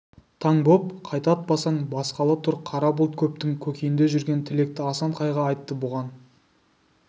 таң боп қайта атпасаң басқалы тұр қара бұлт көптің көкейінде жүрген тілекті асан қайғы айтты бұған